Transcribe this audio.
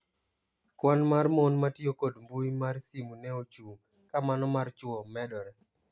"Kwan mar mon matio kod mbui mar simu ne ochung' ka mano mar chwo medore."